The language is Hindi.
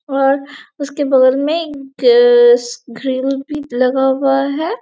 और उसके बगल मे एक भी लगा हुआ है।